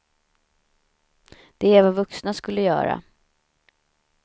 Det är vad vuxna skulle göra.